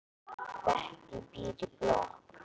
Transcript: Bettý býr í blokk.